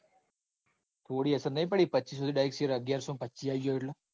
થોડી અસર નાઈ પડી પેચીસો થી direct share અગિયારસો ન પચીસ આઈ ગયો એટલ.